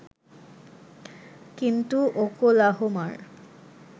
কিন্তু ওকলাহোমার